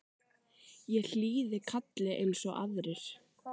Ég hlýði kalli eins og aðrir.